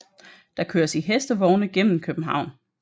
Der køres i hestevogne gennem København